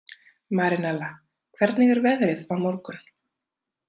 Marinella, hvernig er veðrið á morgun?